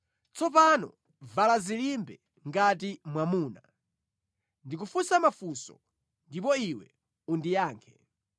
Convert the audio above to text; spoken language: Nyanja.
“Tsopano vala dzilimbe ngati mwamuna; ndikufunsa mafunso ndipo iwe undiyankhe.